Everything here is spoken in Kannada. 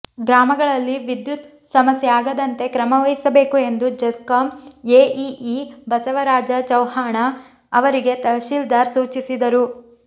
ಗ್ರಾಮಗಳಲ್ಲಿ ವಿದ್ಯುತ್ ಸಮಸ್ಯೆ ಆಗದಂತೆ ಕ್ರಮ ವಹಿಸಬೇಕು ಎಂದು ಜೆಸ್ಕಾಂ ಎಇಇ ಬಸವರಾಜ ಚವ್ಹಾಣ ಅವರಿಗೆ ತಹಶೀಲ್ದಾರ್ ಸೂಚಿಸಿದರು